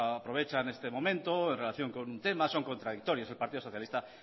aprovechan este momento en relación con un tema son contradictorios el partido socialista